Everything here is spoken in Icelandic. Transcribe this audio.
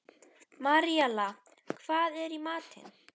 Maríella, hvað er í matinn?